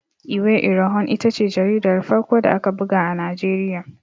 Iwe Irohin ita ce jaridar farko da aka buga a Najeriya.